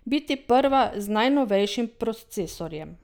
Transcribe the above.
Biti prva z najnovejšim procesorjem.